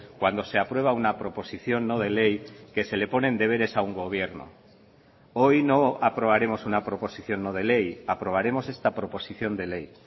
cuando se aprueba una proposición no de ley que se le ponen deberes a un gobierno hoy no aprobaremos una proposición no de ley aprobaremos esta proposición de ley